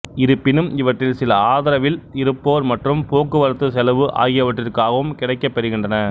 இருப்பினும் இவற்றில் சில ஆதரவில் இருப்போர் மற்றும் போக்குவரத்து செலவு ஆகியவற்றிற்காகவும் கிடைக்கப் பெறுகின்றன